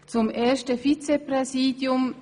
Zum ersten Vizepräsidium.